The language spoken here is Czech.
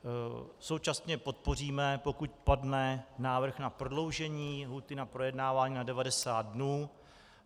Současně podpoříme, pokud padne návrh na prodloužení lhůty na projednávání na 90 dnů.